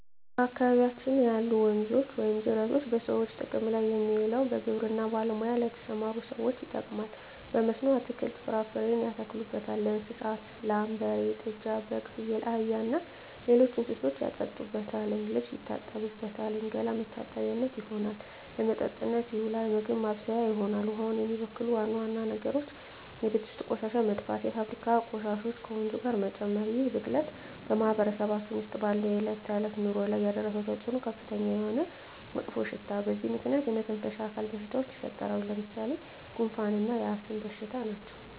በአካባቢያችን ያሉ ወንዞች ወይም ጅረቶች በሰዎች ጥቅም ላይ የሚውለው በግብርና ሙያ ለተሠማሩ ሠዎች ይጠቅማል። በመስኖ አትክልትን፣ ፍራፍሬ ያተክሉበታል። ለእንስሳት ላም፣ በሬ፣ ጥጃ፣ በግ፣ ፍየል፣ አህያ እና ሌሎች እንስሶችን ያጠጡበታል፣ ልብስ ይታጠብበታል፣ ገላ መታጠቢያነት ይሆናል። ለመጠጥነት ይውላል፣ ምግብ ማብሠያ ይሆናል። ውሃውን የሚበክሉ ዋና ዋና ነገሮች የቤት ውስጥ ቆሻሻ መድፋት፣ የፋብሪካ ቆሻሾችን ወንዙ ጋር መጨመር ይህ ብክለት በማህበረሰባችን ውስጥ ባለው የዕለት ተዕለት ኑሮ ላይ ያደረሰው ተፅዕኖ ከፍተኛ የሆነ መጥፎሽታ በዚህ ምክንያት የመተነፈሻ አካል በሽታዎች ይፈጠራሉ። ለምሣሌ፦ ጉንፋ እና የአስም በሽታ ናቸው።